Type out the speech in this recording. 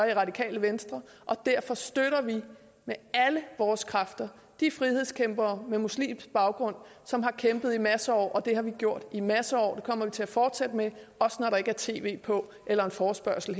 i radikale venstre og derfor støtter vi med alle vores kræfter de frihedskæmpere med muslimsk baggrund som har kæmpet i masser af år og det har vi gjort i masser af år og vi til at fortsætte med også når der ikke er tv på eller en forespørgsel